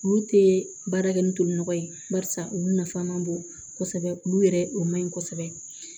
Olu tɛ baara kɛ ni toli nɔgɔ ye barisa olu nafan man bon kosɛbɛ olu yɛrɛ o man ɲi kosɛbɛ